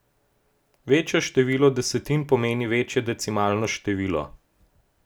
Večje število desetin pomeni večje decimalno število.